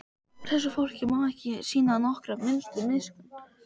Þessu fólki má ekki sýna nokkra minnstu miskunn!